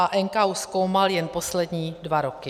A NKÚ zkoumal jen poslední dva roky.